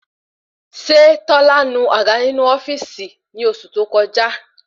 Ṣé tọ́lá nu àga inu ofíìsì ni oṣù tó koja?